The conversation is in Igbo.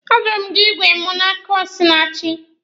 A zụrụ m igwe mụ n'aka Osinachi.